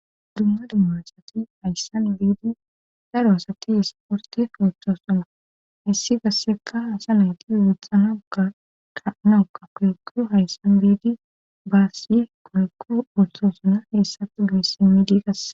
dumma dumma asati hayssan biidi daro asati isporte koechosoma hissi gassekka hasa nayti wuxxanaga taanauka koykko hayssan biidi baasi kolekko ultoosuna heessati goysimi diiqas